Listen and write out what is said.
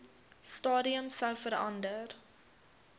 stadium sou verander